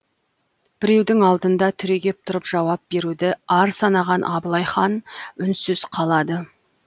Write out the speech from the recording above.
біреудің алдында түрегеп тұрып жауап беруді ар санаған абылай хан үнсіз қалады